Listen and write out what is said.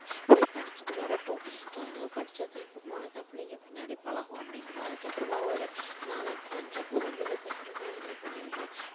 போய் படிச்சிட்டு வரட்டும் அங்க படிச்சாதான் இப்போ போனா தான் பிள்ளைங்க பின்னடி பழகும் அப்படிங்குறோம் அதுக்கப்புறமா ஒரு நாலாம் வகுப்பு அஞ்சாம் வகுப்பு வந்ததுக்கு அப்பறம் எல்லாம் என்ன பண்ணிடுறோம்